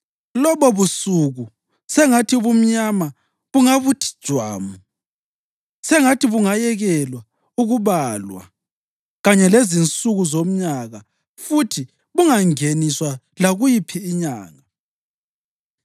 Lobobusuku, sengathi ubumnyama bungabuthi jwamu; sengathi bungayekelwa ukubalwa kanye lezinsuku zomnyaka futhi bungangeniswa lakuyiphi inyanga.